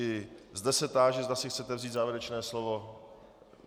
I zde se táži, zda si chcete vzít závěrečné slovo.